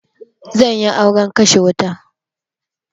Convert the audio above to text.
Zanyi auren kashe wuta